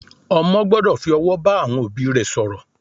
Ọmọ gbọ́dọ̀ fi ọ̀wọ̀ bá àwọn òbí rẹ̀ sọ̀rọ̀